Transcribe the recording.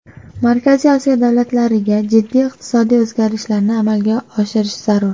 Markaziy Osiyo davlatlariga jiddiy iqtisodiy o‘zgarishlarni amalga oshirishi zarur.